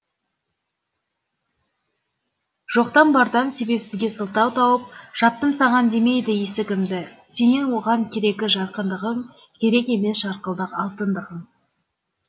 жоқтан бардан себепсізге сылтау тауып жаптым саған демейді есігімді сенен оған керегі жарқындығың керек емес жарқылдық алтындығың